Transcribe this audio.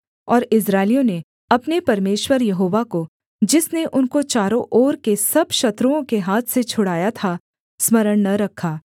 और इस्राएलियों ने अपने परमेश्वर यहोवा को जिसने उनको चारों ओर के सब शत्रुओं के हाथ से छुड़ाया था स्मरण न रखा